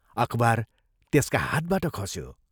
अखबार त्यसका हातबाट खस्यो।